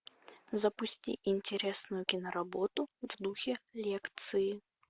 запусти интересную киноработу в духе лекции